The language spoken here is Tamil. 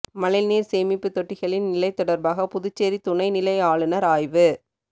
மழைநீர் சேமிப்பு தொட்டிகளின் நிலை தொடர்பாக புதுச்சேரி துணைநிலை ஆளுநர் ஆய்வு